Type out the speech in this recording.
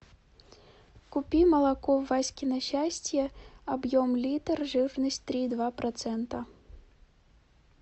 купи молоко васькино счастье объем литр жирность три и два процента